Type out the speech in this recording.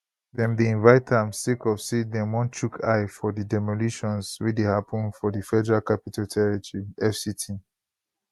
dem dey invite am sake of say dem wan chook eye for di demolitions wey dey happun for di federal capital territory fct